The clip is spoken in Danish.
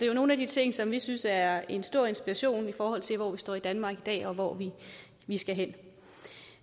jo nogle af de ting som vi synes er en stor inspiration i forhold til hvor vi står i danmark i dag og hvor vi skal hen